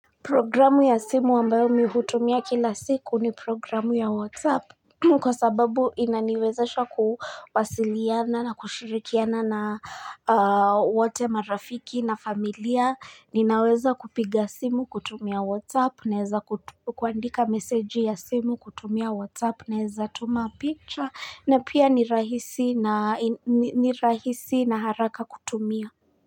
Programu ya simu ambayo mi hutumia kila siku ni programu ya WhatsApp Kwa sababu inaniwezesha kuwasiliana na kushirikiana na wote marafiki na familia ninaweza kupiga simu kutumia WhatsApp naeza kuandika meseji ya simu kutumia WhatsApp naeza tuma picture na pia ni rahisi na haraka kutumia.